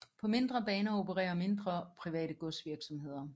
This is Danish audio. På mindre baner opererer mindre private godsvirksomheder